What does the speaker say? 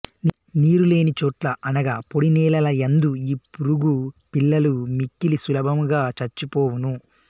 నీరు లేని చోట్ల అనగా పొడి నేలల యందు ఈ పురుగు పిల్లలు మిక్కిలి సులభముగా చచ్చి పోవును